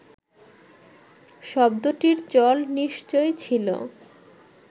শব্দটির চল নিশ্চয় ছিল